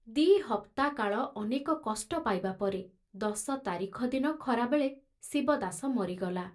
ଦି ହପ୍ତା କାଳ ଅନେକ କଷ୍ଟ ପାଇବାପରେ ଦଶ ତାରିଖ ଦିନ ଖରାବେଳେ ଶିବଦାସ ମରିଗଲା।